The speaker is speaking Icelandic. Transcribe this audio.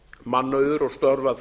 mannauður og störf að